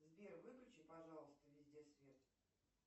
сбер выключи пожалуйста везде свет